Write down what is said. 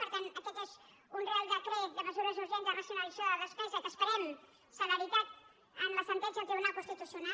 per tant aquest és un reial decret de mesures urgents de racionalització de la despesa que esperem celeritat en la sentència del tribunal constitucional